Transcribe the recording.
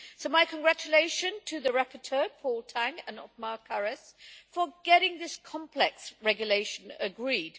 So my congratulations to the rapporteurs, Paul Tang and Othmar Karas, for getting this complex regulation agreed.